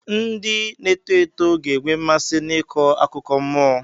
Ndị na-eto eto ga-enwe mmasị n'ịkọ akụkọ nmụọ.